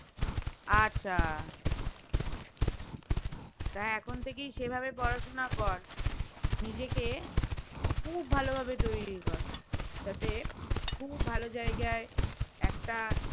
আচ্ছা তা এখন থেকেই সে ভাবে পড়াশোনা কর নিজেকে খুব ভালো ভাবে তৈরী কর যাতে খুব ভালো জায়গায় একটা